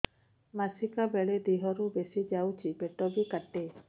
ମାସିକା ବେଳେ ଦିହରୁ ବେଶି ଯାଉଛି ପେଟ ବି କାଟେ